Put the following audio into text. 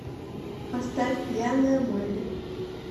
поставь пьяная молли